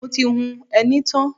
Mo ti hun ẹní tán.